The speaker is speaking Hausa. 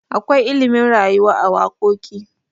akwai ilimin rayuwa a wakoki